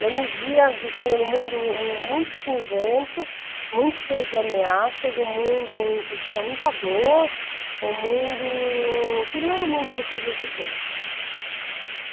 Eu me via vivendo em um mundo muito cinzento, muito cheio de ameaças, um mundo onde existia muita dor, um mundo que não era o mundo que eu queria viver.